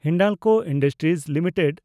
Hindalco industries limited